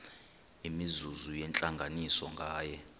imizuzu yentlanganiso nganye